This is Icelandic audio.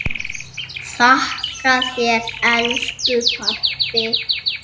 Þakka þér elsku pabbi.